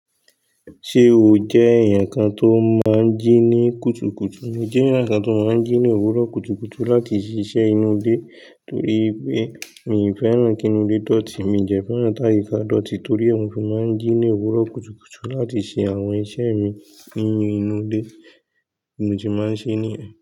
Ṣé o jẹ́ ẹ̀yàn kan tó máa ń jí ní kùtùkùtù? N jẹ́ ẹ̀yàn kan tó máa ń jí ní òwúrọ̀ kùtùkùtù láti ṣiṣẹ́ inú ilé torí pé mi ò fẹ́ràn kí inú ilé dọ̀tí. Mi de fẹ́ràn táì ká dọ̀tí torí ó ń fi máa ń jí ní òwúrọ̀ kùtùkùtù láti ṣe àwọn iṣẹ́ mi nínú inú ilé. Bi mo se máa ń ṣe ní yen.